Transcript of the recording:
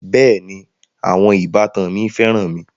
Bẹẹni, àwọn ìbátan mi féràn mi